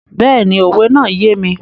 Bẹ́ẹ̀ni, òwe náà yé mi.